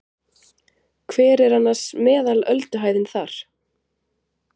Hver er annars meðal ölduhæðin þar?